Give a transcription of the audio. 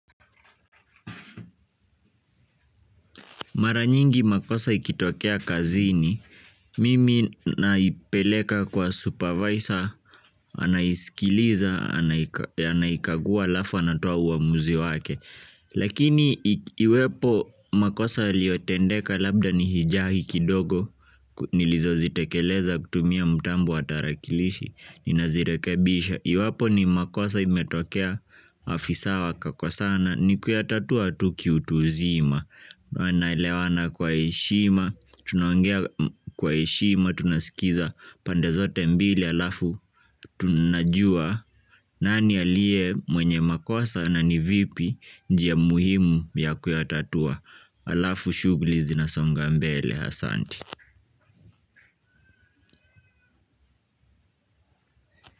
Mara nyingi makosa ikitokea kazini, mimi naipeleka kwa supervisor, anaisikiliza, anaikagua alafu anatoa uamuzi wake. Lakini iwepo makosa yaliotendeka labda ni hijahi kidogo, nilizozitekeleza kutumia mtambo wa tarakilishi ninazirekebisha. Iwapo ni makosa imetokea afisa wakakosana ni kuyatatua tu kiutu uzima. Wanaelewana kwa heshima, tunaongea kwa heshima, tunasikiza pande zote mbili alafu tunajua nani aliye mwenye makosa na ni vipi njia muhimu ya kuyatatua. Alafu shughuli zinasonga mbele asanti.